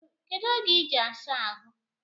Kedu oge iji asa ahụ?